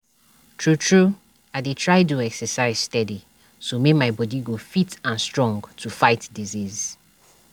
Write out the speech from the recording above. true true i dey try do exercise steady so my my bodi go fit and strong to fight disease.